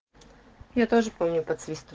я тоже помню подсвист